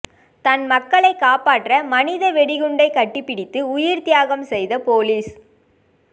தன் மக்களை காப்பாற்ற மனித வெடிகுண்டை கட்டிப்பிடித்து உயிர் தியாகம் செய்த போலீஸ்